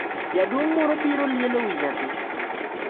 Jaduong’ moro biro lielo wi nyathi.